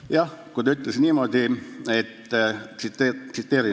Palun, kolm minutit lisaaega!